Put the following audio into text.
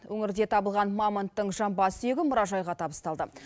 өңірде табылған мамонттың жамбас сүйегі мұражайға табысталды